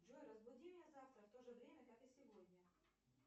джой разбуди меня завтра в то же время как и сегодня